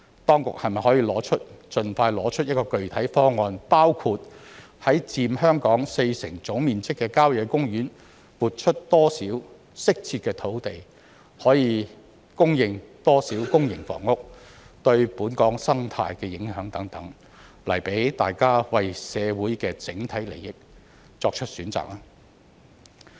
當局是否可以盡快提出具體方案，包括在佔香港四成總面積的郊野公園撥出多少適切的用地、可供應多少公營房屋、對本港生態的影響等，來讓大家為社會的整體利益作出選擇呢？